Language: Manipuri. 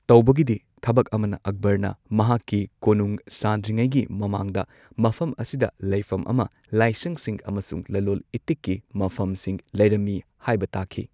ꯇꯧꯕꯒꯤꯗꯤ ꯊꯕꯛ ꯑꯃꯅ ꯑꯛꯕꯔꯅ ꯃꯍꯥꯛꯀꯤ ꯀꯣꯅꯨꯡ ꯁꯥꯗ꯭ꯔꯤꯉꯩꯒꯤ ꯃꯃꯥꯡꯗ ꯃꯐꯝ ꯑꯁꯤꯗ ꯂꯩꯐꯝ ꯑꯃ, ꯂꯥꯏꯁꯪꯁꯤꯡ ꯑꯃꯁꯨꯡ ꯂꯂꯣꯜ ꯏꯇꯤꯛꯀꯤ ꯃꯐꯝꯁꯤꯡ ꯂꯩꯔꯝꯃꯤ ꯍꯥꯏꯕ ꯇꯥꯛꯈꯤ꯫